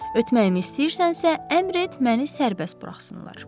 Ötməyimi istəyirsənsə, əmr et məni sərbəst buraxsınlar.